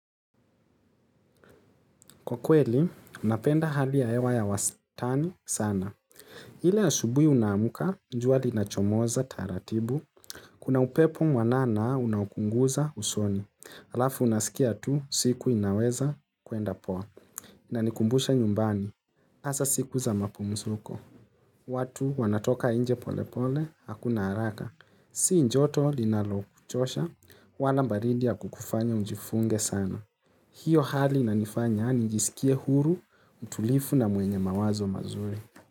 Kwa kweli napenda hali ya hewa ya wastani sana. Ile asubuhi unaamka, jua linachomoza taratibu. Kuna upepo mwanana unaokuguza usoni. Alafu unasikia tu, siku inaweza kuenda poa. Inanikumbusha nyumbani. Hasa siku za mapumzuko. Watu wanatoka nje polepole, hakuna haraka. Si njoto linalochosha, wala baridi ya kukufanya ujifunge sana. Hiyo hali inanifanya nijisikie huru, mtulivu na mwenye mawazo mazuri.